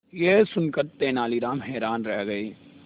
यह सुनकर तेनालीराम हैरान रह गए